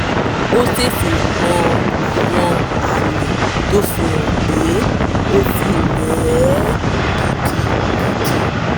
ó tètè mọ àwọn àmì tó fi hàn pé ó ti rẹ̀ ẹ́ gidigidi